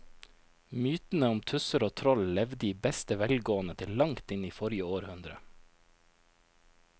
Mytene om tusser og troll levde i beste velgående til langt inn i forrige århundre.